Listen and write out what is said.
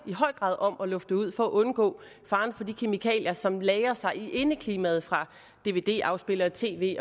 om at lufte ud for at undgå faren fra de kemikalier som lagrer sig i indeklimaet fra dvd afspillere tv